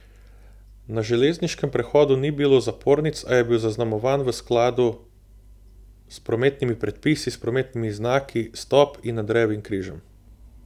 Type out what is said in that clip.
Na železniškem prehodu ni bilo zapornic, a je bil zaznamovan v skladu s prometnimi predpisi, s prometnimi znaki stop in Andrejevim križem.